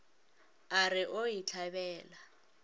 a re o e hlabela